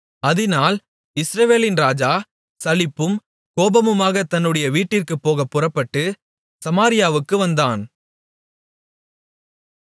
அதினால் இஸ்ரவேலின் ராஜா சலிப்பும் கோபமுமாகத் தன்னுடைய வீட்டிற்குப் போகப்புறப்பட்டு சமாரியாவுக்கு வந்தான்